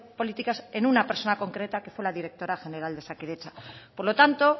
políticas en una persona concreta que fue la directora general de osakidetza por lo tanto